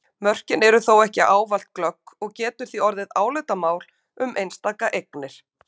Mörkin eru þó ekki ávallt glögg og getur því orðið álitamál um einstakar eignir.